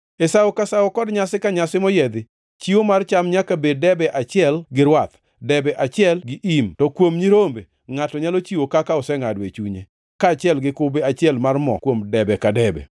“ ‘E sawo ka sawo kod nyasi ka nyasi moyiedhi, chiwo mar cham nyaka bed debe achiel gi rwath, debe achiel gi im, to kuom nyirombe, ngʼato nyalo chiwo kaka osengʼado e chunye, kaachiel gi kube achiel mar mo kuom debe ka debe.